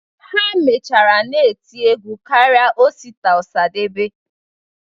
Ha mechara na-eti egwu karịa Osita Ọsadebe.